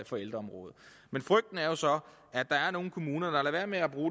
for ældreområdet men frygten er jo så at der er nogle kommuner der lader være